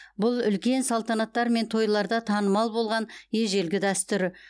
бұл үлкен салтанаттар мен тойларда танымал болған ежелгі дәстүр